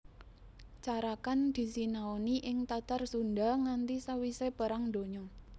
Carakan disinaoni ing Tatar Sundha nganti sawisé Perang Donya